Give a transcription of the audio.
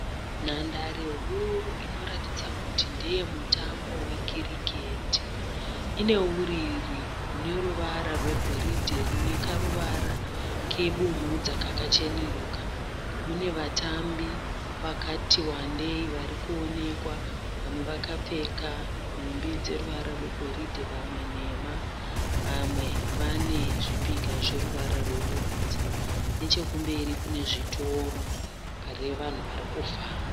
Nhandare huru inoratidza kuti ndeye mutambo wekiriketi ine uriri une ruvara rwegoridhe rune karuvara kebumhudza kakacheneruka mune vatambi vakati wandei varikuonekwa vamwe vakapfeka nhumbi dzeruvara rwegoridhe vamwe nhema vamwe vane zvipika zveruvara rwebumhudza nechekumberi kune zvitoro pane vanhu varikufamba.